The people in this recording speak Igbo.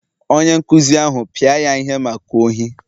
Onye nkụzi ahụ pịa ya ihe maka ohi